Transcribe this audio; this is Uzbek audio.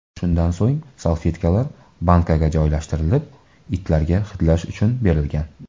Shundan so‘ng salfetkalar bankaga joylashtirilib, itlarga hidlash uchun berilgan.